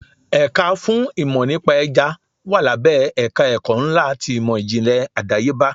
Ẹ̀ka fún ìmò nípa Ẹja wà lábẹ́ ẹ̀ka ẹ̀kọ́ ńlá ti ìmò ìjìnlẹ̀ àdáyébá.